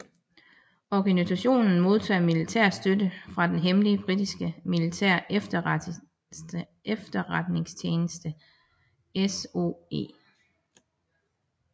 Organisationen modtog militær støtte fra den hemmelige britiske militære efterretningstjeneste SOE